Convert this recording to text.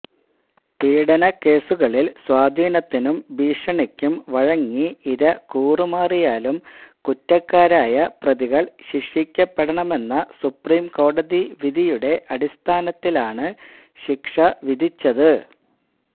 പീഡനക്കേസുകളിൽ സ്വാധീനത്തിനും ഭീഷണിക്കും വഴങ്ങി ഇര കൂറുമാറിയാലും കുറ്റക്കാരായ പ്രതികൾ ശിക്ഷിക്കപ്പെടണമെന്ന സുപ്രീംകോടതി വിധിയുടെ അടിസ്ഥാനത്തിലാണ് ശിക്ഷ വിധിച്ചത്